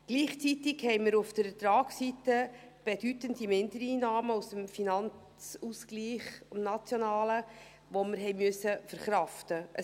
Gleichzeitig hatten wir auf der Ertragsseite bedeutende Mindereinnahmen aus dem NFA, die wir verkraften mussten.